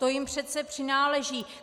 To jim přece přináleží.